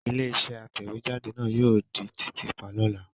Ilé-iṣẹ́ àtẹ̀jáde náà yóò di títì pa lọ́la.